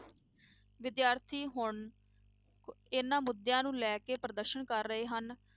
ਵਿਦਿਆਰਥੀ ਹੁਣ ਐਨਾ ਮੁੱਦਿਆਂ ਨੂੰ ਲੈ ਕੇ ਪ੍ਰਦਰਸ਼ਨ ਕਰ ਰਹੇ ਹਨ,